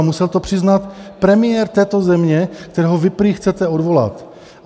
A musel to přiznat premiér této země, kterého vy prý chcete odvolat.